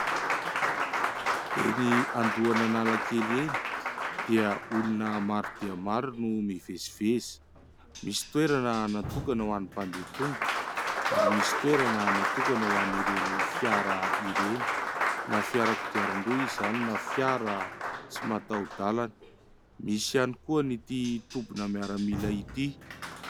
Eny andoan' Analakely eny dia olona maro dia maro no miveziveza. Misy toerana natokana ho any mpandeha tongotra ary misy toerana natokana ho any ireny fiara ireny na fiarakodia-ndroa izany na fiara tsy matao dalana. Misy ihany koa ny ity tobina miaramila ity.